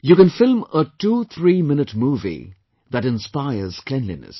You can film a twothreeminute movie that inspires cleanliness